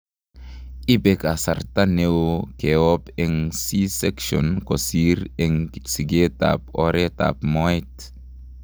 Ibe kasrta neoo keob eng' C section kosiir eng sikeet ab oret ab mooet